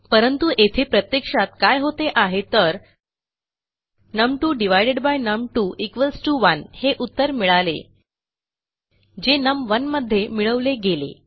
परंतु येथे प्रत्यक्षात काय होते आहे तर नम2 नम2 1 हे उत्तर मिळाले जे नम1 मध्ये मिळवले गेले